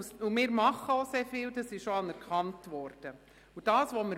Wir tun sehr viel dafür, und dies wurde auch anerkannt.